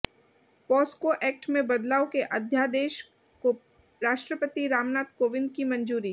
POCSO act में बदलाव के अध्यादेश को राष्ट्रपति रामनाथ कोविंद की मंजूरी